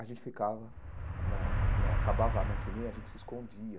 A gente ficava, na na acabava a matinê, a gente se escondia.